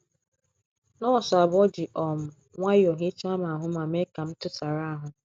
Nọọsụ abụọ ji um nwayọọ hichaa m ahụ ma mee ka m tụsara ahụ.